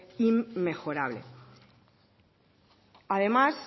inmejorable además